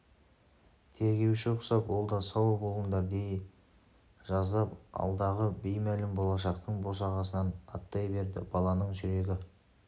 тергеуші құсап ол да сау болыңдар дей жаздап алдағы беймәлім болашақтың босағасынан аттай берді баланың жүрегі